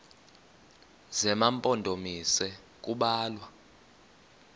zema mpondomise kubalwa